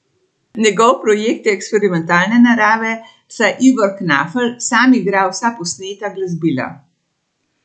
Njegov projekt je eksperimentalne narave, saj Ivor Knafelj sam igra vsa posneta glasbila.